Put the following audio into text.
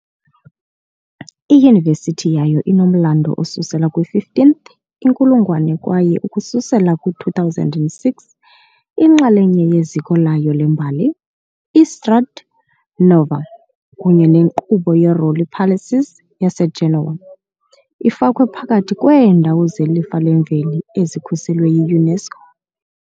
Iyunivesithi yayo inomlando osusela kwi-15th inkulungwane kwaye ukususela kwi-2006 inxalenye yeziko layo lembali, i-Strade Nuove kunye nenkqubo ye-Rolli Palaces yaseGenoa, ifakwe phakathi kweendawo zeLifa leMveli ezikhuselwe yi-UNESCO.